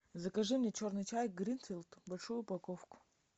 закажи мне черный чай гринфилд большую упаковку